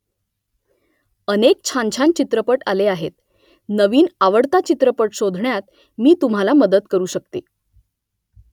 अनेक छानछान चित्रपट आले आहेत . नवीन आवडता चित्रपट शोधण्यात मी तुम्हाला मदत करू शकते